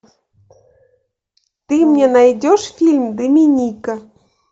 ты мне найдешь фильм доминика